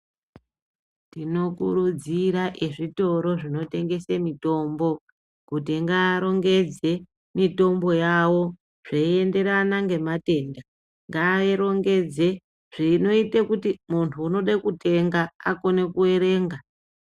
Tinokurudzira ezvitoro zvinotengese mitombo, kuti ngaarongedze mitombo yavo zveienderana ngematenda. Ngairongedze zvinoite kuti muntu unode kutenga akone kuerenga.